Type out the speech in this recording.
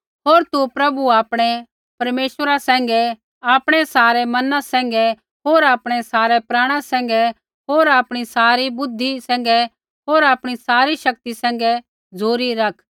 होर तु प्रभु आपणै परमेश्वरा सैंघै आपणै सारै मना सैंघै होर आपणै सारै प्राणा होर आपणी सारी बुद्धि सैंघै होर आपणी सारी शक्ति सैंघै झ़ुरी रखा